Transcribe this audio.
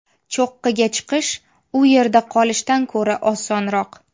Cho‘qqiga chiqish, u yerda qolishdan ko‘ra osonroq.